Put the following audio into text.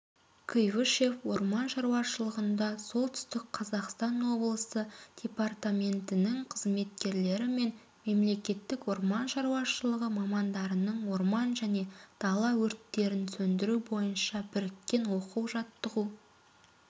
куйбышев орман шаруашылығында солтүстік қазақстан облысы департаментінің қызметкерлері мен мемлекеттік орман шаруашылығы мамандарының орман және дала өрттерін сөндіру бойынша біріккен оқу-жаттығу